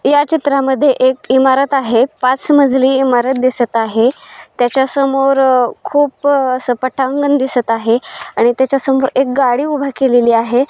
या चित्र मधे एक ईमारत आहे पांच मजिली ईमारत दिसत आहे त्याच्या समोर खूप अस पटांगण दिसत आहे आणि त्याच्या संग एक गाडी उभा केलेली आहे.